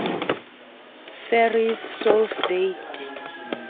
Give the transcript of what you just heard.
verify source date